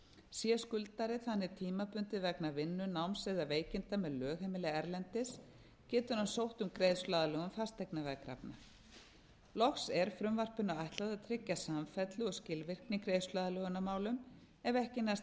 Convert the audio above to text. sé skuldari þannig tímabundið vegna vinnu náms eða veikinda með lögheimili erlendis getur hann sótt um greiðsluaðlögun fasteignaveðkrafna loks er frumvarpinu ætlað að tryggja samfellu og skilvirkni í greiðsluaðlögunarmálum ef ekki næst